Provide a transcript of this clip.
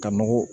Ka nɔgɔ